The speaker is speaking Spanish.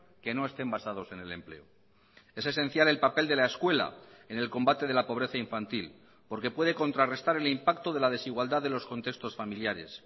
que no estén basados en el empleo es esencial el papel de la escuela en el combate de la pobreza infantil porque puede contrarrestar el impacto de la desigualdad de los contextos familiares